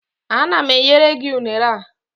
Ana m enyere gị unere a